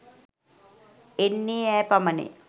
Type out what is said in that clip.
එන්නේ ඈ පමණය